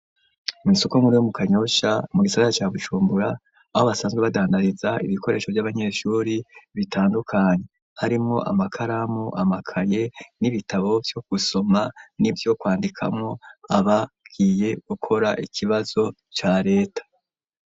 Mw'isoko nkuru yo mu kanyoshya mu gisaza ca Bujumbura, aho basanzwe badandariza ibikoresho vy'abanyeshure bitandukanye harimwo amakaramu ,amakaye n'ibitabo vyo gusoma n'ivyo kwandikamwo abagiye gukora ikibazo ca leta.